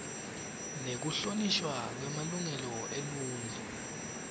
nekuhlonishwa kwemalungelo eluntfu